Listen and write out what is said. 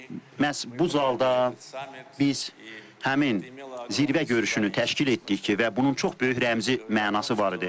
Məhz bu zalda biz həmin zirvə görüşünü təşkil etdik ki, və bunun çox böyük rəmzi mənası var idi.